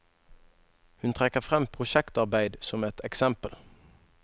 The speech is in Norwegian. Hun trekker frem prosjektarbeid som et eksempel.